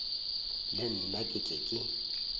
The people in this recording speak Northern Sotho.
le nna ke tle ke